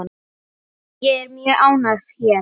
Ég er mjög ánægð hér.